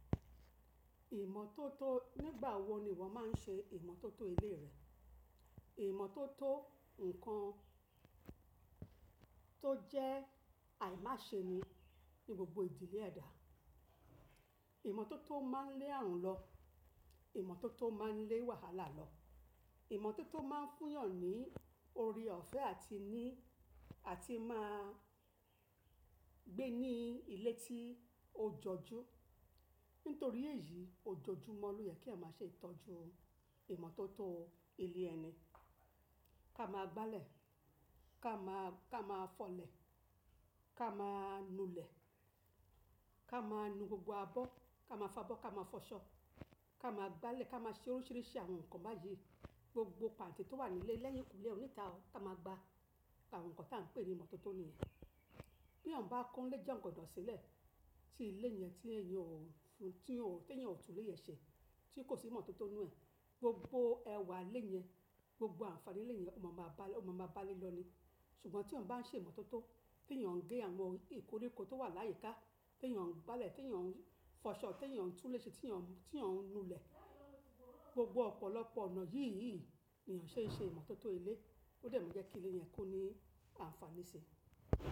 Ìmọ́tótó nígbà wo ni ìwọ máa ń ṣe ìmọ́tótó ilé rẹ? Ìmọ́tótó nǹkan tó jẹ́ àìmáṣeni ní gbogbo ìdílé ẹda. Ìmọ́tótó máa ń lé ààrùn lọ, ìmọ́tótó máa ń lé wàhálà lọ, ìmọ́tótó máa ń fún yàn ní oore ọ̀fẹ́ àti ní, àti máa gbé ní ilé tí ó jọjú. Nítorí èyí, ojojúmọ́ ló yẹ kí èèyàn máa ṣe ìtọ́jú ìmọ́tótó ilé ẹni. Ká máa gbálẹ̀, ká máa, ká máa fọ̀lẹ̀, ká máa nu lẹ̀, ká máa nu gbogbo abọ́, ká máa fabọ́, ká máa fọṣọ, ká máa gbálẹ̀, ká máa ṣe oríṣìíríṣìí àwọn nǹkan báyìí. Gbogbo pàǹtí tó wà nílé, lẹ́yìnkùlé, onítà ọ̀, ká máa gba àwọn nǹkan tí à ń pè ní ìmọ́tótó nìyẹn. Bí èèyàn bá kó ilé jẹ́ jọkọ̀dọ̀ sílẹ̀, tí ilé yẹn tí èèyàn ò fún, tí ò, tí èèyàn ò tú ilé yẹn ṣe, tí kò sí ìmọ́tótó nínú ẹ̀, gbogbo ẹwà ilé yẹn, gbogbo àǹfàní ilé yẹn ò mọ máa bá a lẹ́, ò mọ máa bá a lélọ ni. Ṣùgbọ́n tí èèyàn bá ń ṣe ìmọ́tótó, tí èèyàn ń gé àwọn ìkórikó tó wà láyìíká, tí èèyàn ń gbálẹ̀, tí èèyàn ń fọṣọ, tí èèyàn ń tú ilé ṣe, tí èèyàn, tí èèyàn ń nu ilẹ̀. Gbogbo ọ̀pọ̀lọpọ̀ ọ̀nà yíìyí ni èèyàn ṣe ń ṣe ìmọ́tótó ilé. Ó dẹmú jẹ́ kí ilé yẹn kó ní àǹfàní ṣe.